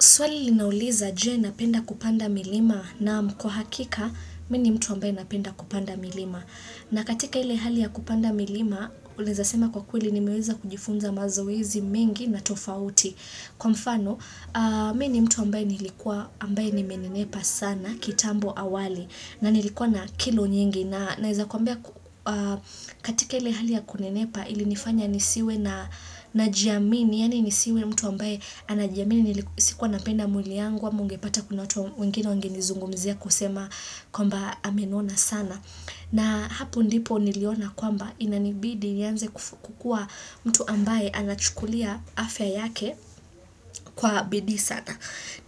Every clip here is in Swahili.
Swali linauliza je napenda kupanda milima naam kwa hakika mimi ni mtu ambaye napenda kupanda milima. Na katika ile hali ya kupanda milima unaweza sema kwa kweli nimeweza kujifunza mazoezi mengi na tofauti. Kwa mfano mimi ni mtu ambaye nilikuwa ambaye nimenenepa sana kitambo awali na nilikuwa na kilo nyingi. Nawezakuambia katika ili hali ya kunenepa ili nifanya nisiwe najiamini yani nisiwe mtu ambaye anajiamini sikuwa napenda mwili yangu ama ungepata kuna watu wengine wengenizungumizia kusema kwamba amenona sana na hapo ndipo niliona kwamba inanibidi nianze kukuwa mtu ambaye anachukulia afya yake kwa bidii sana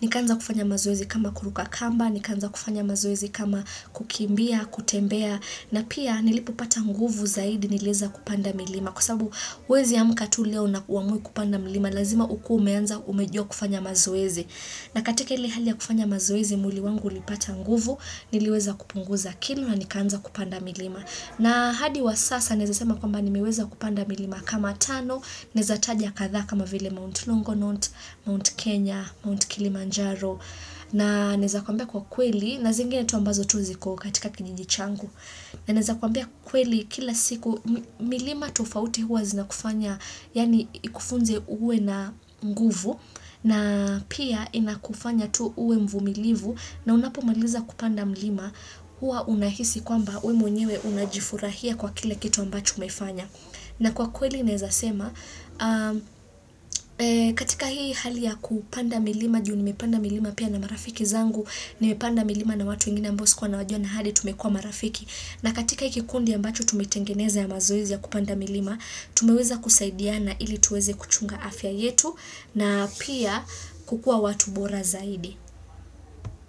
ni kanza kufanya mazoezi kama kuruka kamba, ni kanza kufanya mazoezi kama kukimbia, kutembea na pia nilipopata nguvu zaidi niliweza kupanda milima kwa sababu huwezi amka tu leo na uamwe kupanda milima lazima ukue umeanza umejua kufanya mazoezi na katika hili hali ya kufanya mazoezi mwili wangu ulipata nguvu nileweza kupunguza kilo na nikaanza kupanda milima na hadi wa sasa naweza sema kwamba nimeweza kupanda milima kama tano naweza taja kathaa kama vile Mount Longonot, Mount Kenya, Mount Kilimanjaro na naweza kwambia kwa kweli na zingine tu ambazo tu ziko katika kijiji changu na naweza kwambia kweli kila siku milima tufauti huwa zina kufanya yani ikufunze uwe na nguvu na pia inakufanya tu uwe mvumilivu na unapo maliza kupanda milima huwa unahisi kwamba wewe mwenyewe unajifurahia kwa kila kitu ambacho umefanya. Na kwa kweli naweza sema, katika hii hali ya kupanda milima, juu nimepanda milima pia na marafiki zangu, nimepanda milima na watu wengine ambao sikua nawajua na hadi tumekuwa marafiki. Na katika hii kikundi ambacho tumetengeneza ya mazoizi ya kupanda milima, tumeweza kusaidiana ili tuweze kuchunga afya yetu na pia kukua watu bora zaidi.